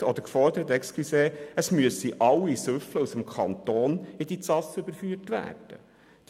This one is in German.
Der Grosse Rat forderte auch nie, dass alle Betrunkenen aus dem Kanton in diese Ausnüchterungsstelle überführt werden müssen.